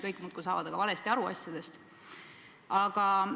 Kõik saavad muudkui asjadest valesti aru.